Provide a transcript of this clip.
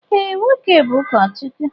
Ee, nwoke bú ụkọchukwu